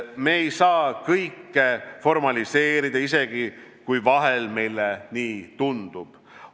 Me ei saa kõike formaliseerida, isegi kui vahel meile nii tundub.